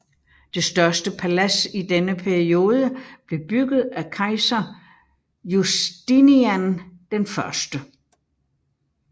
Det største palads i denne periode blev bygget af kejser Justinian I